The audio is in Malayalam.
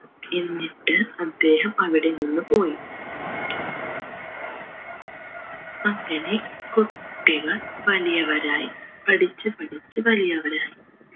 എന്നിട്ട് അദ്ദേഹം അവിടെ നിന്നു പോയി അങ്ങനെ കുട്ടികൾ വലിയവരായി പഠിച്ച് പഠിച്ച് വലിയവരായി